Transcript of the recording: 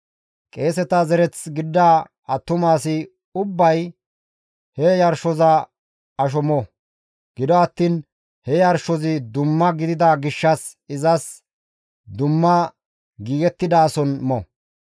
Qeeseta zereth gidida attuma asi ubbay he yarshoza asho mo; gido attiin he yarshozi dumma gidida gishshas izas dumma giigettidaason mo.